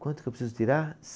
Quanto que eu preciso tirar?